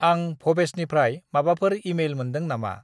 आं भबेसनिफ्राय माबाफोर इमेइल मोन्दों नामा?